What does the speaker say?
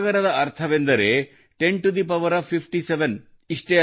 ಒಂದು ಸಾಗರದ ಅರ್ಥವೆಂದರೆ 10 57